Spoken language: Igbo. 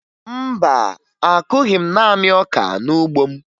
Mba, akụghị m naanị ọka n'ugbo m